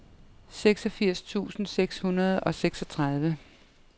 seksogfirs tusind seks hundrede og seksogtredive